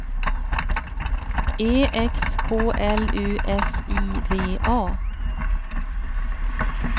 E X K L U S I V A